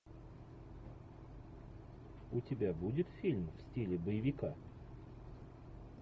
у тебя будет фильм в стиле боевика